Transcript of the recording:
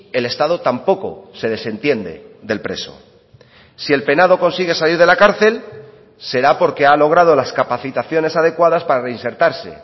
el estado tampoco se desentiende del preso si el penado consigue salir de la cárcel será porque ha logrado las capacitaciones adecuadas para reinsertarse